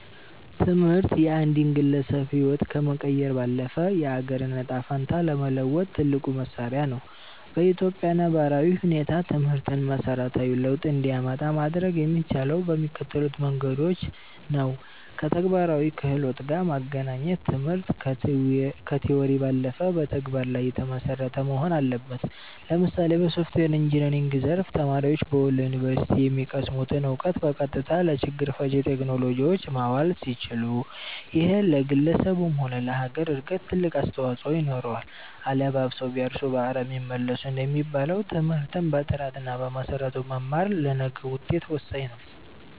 ትምህርት የአንድን ግለሰብ ህይወት ከመቀየር ባለፈ፣ የአገርን ዕጣ ፈንታ ለመለወጥ ትልቁ መሣሪያ ነው። በኢትዮጵያ ነባራዊ ሁኔታ ትምህርትን መሠረታዊ ለውጥ እንዲያመጣ ማድረግ የሚቻለው በሚከተሉት መንገዶች ነውከተግባራዊ ክህሎት ጋር ማገናኘት ትምህርት ከቲዎሪ ባለፈ በተግባር ላይ የተመሰረተ መሆን አለበት። ለምሳሌ በሶፍትዌር ኢንጂነሪንግ ዘርፍ፣ ተማሪዎች በወሎ ዩኒቨርሲቲ የሚቀስሙትን እውቀት በቀጥታ ለችግር ፈቺ ቴክኖሎጂዎች ማዋል ሲችሉ፣ ይሄ ለግለሰቡም ሆነ ለሀገር እድገት ትልቅ አስተዋፅኦ ይኖረዋል። "አለባብሰው ቢያርሱ በአረም ይመለሱ" እንደሚባለው፣ ትምህርትን በጥራትና በመሰረቱ መማር ለነገው ውጤት ወሳኝ ነው።